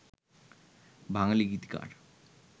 বাঙালি গীতিকার